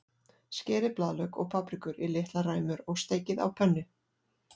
Skerið blaðlauk og paprikur í litlar ræmur og steikið á pönnu.